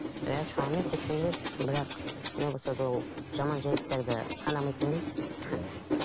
иә шамамен сексен рет бірақ не болса да ол жаман жайттарды санамайсың ғой иә